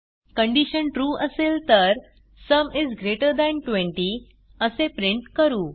condition true असेल तर sum is greater than 20 असे प्रिंट करू